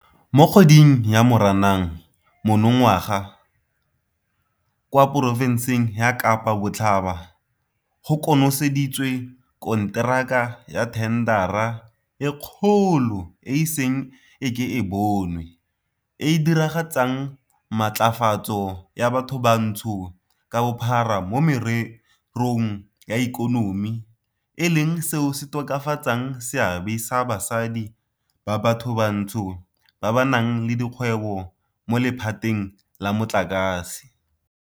Mo kgweding ya Moranang monongwaga kwa porofenseng ya Kapa Botlhaba go konoseditswe konteraka ya thendara e kgolo e e iseng e ke e bonwe e e diragatsang Matlafatso ya Bathobantsho ka Bophara mo Mererong ya Ikonomi e leng seo se tokafatsang seabe sa basadi ba bathobantsho ba ba nang le dikgwebo mo lephateng la motlakase.